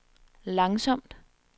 langsomt